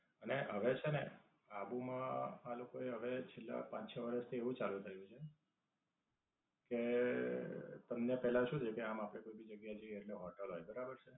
અને હવે છેને આબુ માં આ લોકો એ હવે છેલ્લા પાંચ-છ વરસ થી એવું ચાલુ કર્યું છે કે, તમને પેલા શું છે કે આમ આપડે કોઈ ભી જગ્યા એ જઇયે એટલે હોટેલ હોય બરાબર છે.